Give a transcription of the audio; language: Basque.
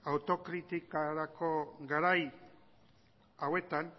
autokritikarako garai hauetan